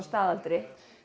staðaldri